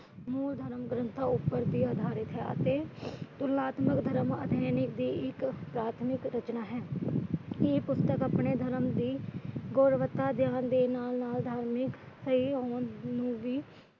ਮੂਲ ਧਰਮ ਗ੍ਰੰਥਾਂ ਉੱਪਰ ਵੀ ਅਧਾਰਿਤ ਹੈ। ਅਤੇ ਤੁਲਨਾਤਮਕ ਧਰਮ ਪ੍ਰਾਥਮਿਕ ਰਚਨਾ ਹੈ । ਇਹ ਪੁਸਤਕ ਆਪਣੇ ਧਰਮ ਦੀ ਗੁਣਵੱਤਾ